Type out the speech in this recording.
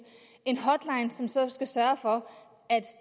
som skal sørge for